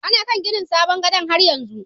Ana kan ginin sabon gadan' har yanzu.